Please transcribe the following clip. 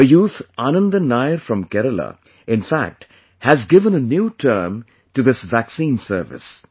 A youth Anandan Nair from Kerala in fact has given a new term to this 'Vaccine service'